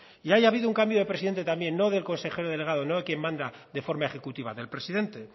y ahí ha habido un cambio de presidente también no del consejero delegado no de quien manda de forma ejecutiva del presidente